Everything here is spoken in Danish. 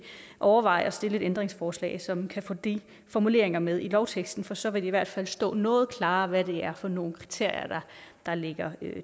overveje at stille et ændringsforslag som kan få de formuleringer med i lovteksten for så vil det i hvert fald stå noget klarere hvad det er for nogle kriterier der ligger